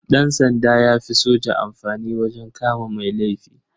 Ɗansanda ya fi soja amfani wajen kama mai laifi.